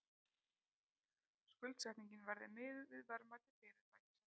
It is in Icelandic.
Skuldsetningin verði miðuð við verðmæti fyrirtækisins